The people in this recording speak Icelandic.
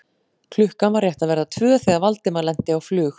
Klukkan var rétt að verða tvö þegar Valdimar lenti á flug